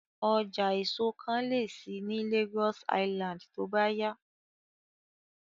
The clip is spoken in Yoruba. Ọjà èso kan lè ṣí ní Lagos Island tó bá yá